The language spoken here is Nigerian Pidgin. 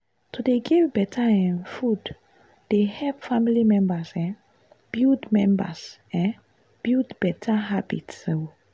to dey give better um food dey help family members um build members um build better habits. um